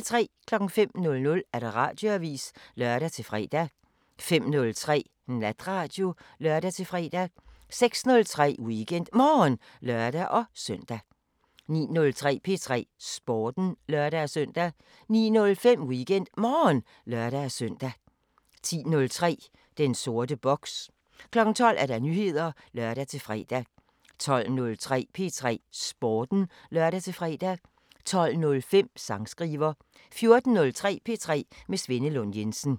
05:00: Radioavisen (lør-fre) 05:03: Natradio (lør-fre) 06:03: WeekendMorgen (lør-søn) 09:03: P3 Sporten (lør-søn) 09:05: WeekendMorgen (lør-søn) 10:03: Den sorte boks 12:00: Nyheder (lør-fre) 12:03: P3 Sporten (lør-fre) 12:05: Sangskriver 14:03: P3 med Svenne Lund Jensen